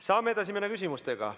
Saame edasi minna küsimustega.